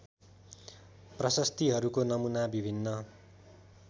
प्रशस्तिहरूको नमूना विभिन्न